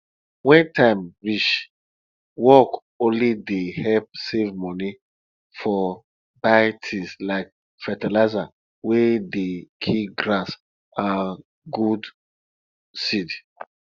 when time reach work only dey help save money for buy tins like fertilizer wey dey kill grass and good seed